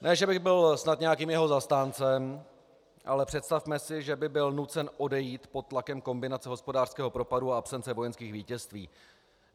Ne že bych byl snad nějakým jeho zastáncem, ale představme si, že by byl nucen odejít pod tlakem kombinace hospodářského propadu a absence vojenských vítězství.